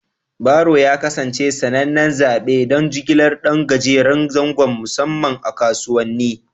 Baro ya kasance sanannen zaɓi don jigilar ɗan gajeren zango, musamman a kasuwanni.